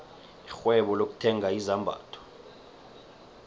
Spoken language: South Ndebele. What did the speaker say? irhwebo lokuthenga izambatho